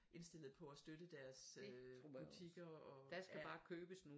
Indstillede på at støtte deres øh butikker og